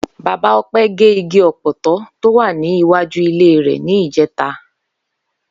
Bàbá O̩pé̩ gé igi ò̩pò̩tó̩ tó wà ní iwájú ilé rè̩ ní ìjé̩ta